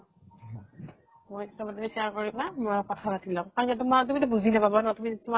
share কৰিবা, মই কথা পাতি লম। তোমাৰ তুমিতো বুজি নাপাবা ন তুমি তোমাৰ